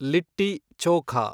litti chokha